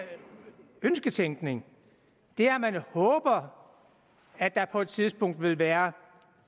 ønsketænkning det er at man håber at der på et tidspunkt vil være